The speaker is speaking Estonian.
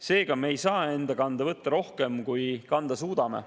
Seega, me ei saa enda kanda võtta rohkem, kui kanda suudame.